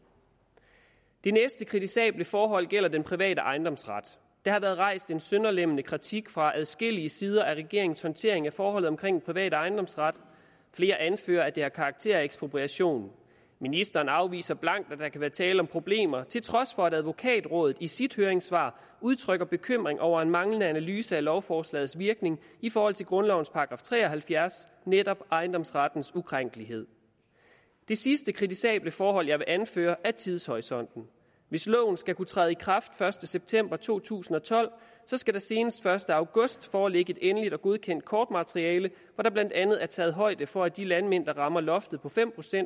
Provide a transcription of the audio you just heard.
det næste kritisable forhold gælder den private ejendomsret der har været rejst en sønderlemmende kritik fra adskillige sider af regeringens håndtering af forholdet omkring den private ejendomsret flere anfører at det har karakter af ekspropriation ministeren afviser blankt at der kan være tale om problemer til trods for at advokatrådet i sit høringssvar udtrykker bekymring over en manglende analyse af lovforslagets virkning i forhold til grundlovens § tre og halvfjerds netop ejendomsrettens ukrænkelighed det sidste kritisable forhold jeg vil anføre er tidshorisonten hvis loven skal kunne træde i kraft den første september to tusind og tolv skal der senest den første august foreligge et endeligt og godkendt kortmateriale hvor der blandt andet er taget højde for at de landmænd der rammer loftet på fem